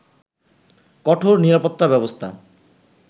কঠোর নিরাপত্তা ব্যবস্থা